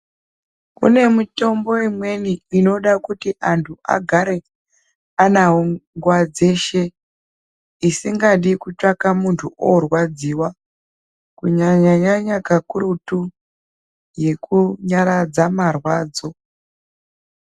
Kune mitombo imweni inoda kuti anhu agare anawo nguwa dzeshe isikadi kutsvaga munhu orwadziwa kunyanyanyanyanya kakurutu yekunyaradza marwadzo .